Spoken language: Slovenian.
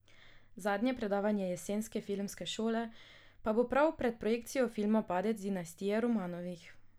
Zadnje predavanje Jesenske filmske šole pa bo prav pred projekcijo filma Padec dinastije Romanovih.